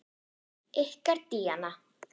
Ykkar Díana.